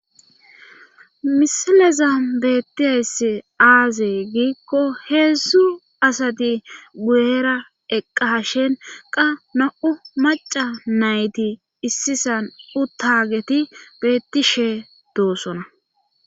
misileza beettiyayssi aazee giikko heedzdzu asati guyera eqqa shen qa na7u maca nayti issisan u taageti beettishe doossona